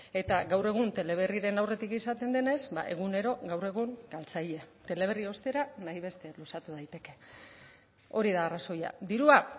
eta gaur egun teleberriren aurretik izaten denez egunero gaur egun galtzaile teleberri ostera nahi beste luzatu daiteke hori da arrazoia dirua